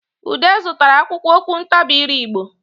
Ude zụtara akwụkwọ okwuntabiire Igbo